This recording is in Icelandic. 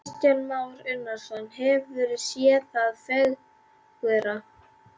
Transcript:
Kristján Már Unnarsson: Hefurðu séð það fegurra?